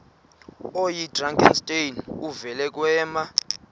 oyidrakenstein uvele kwema